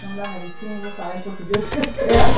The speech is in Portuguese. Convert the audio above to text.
Vamos lá na vitrine, eu vou falar em português o que eu quero